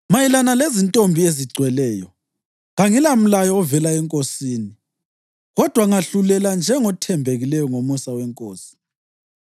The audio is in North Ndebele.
Mayelana lezintombi ezigcweleyo: Kangilamlayo ovela eNkosini, kodwa ngahlulela njengothembekileyo ngomusa weNkosi.